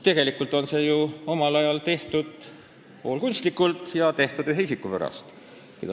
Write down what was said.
Tegelikult tehti see valimisringkond ju omal ajal poolkunstlikult ja ühe isiku pärast.